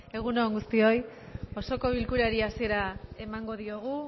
egun on guztioi osoko bilkurari hasiera emango diogu